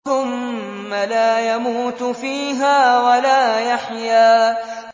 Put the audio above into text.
ثُمَّ لَا يَمُوتُ فِيهَا وَلَا يَحْيَىٰ